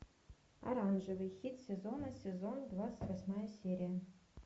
оранжевый хит сезона сезон двадцать восьмая серия